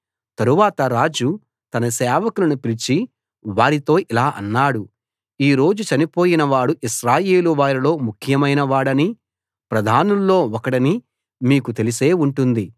తరువాత రాజు తన సేవకులను పిలిచి వారితో ఇలా అన్నాడు ఈ రోజు చనిపోయిన వాడు ఇశ్రాయేలు వారిలో ముఖ్యమైన వాడనీ ప్రధానుల్లో ఒకడనీ మీకు తెలిసే ఉంటుంది